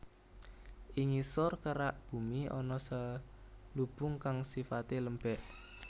Ing ngisor kerak bumi ana selubung kang sifate lembek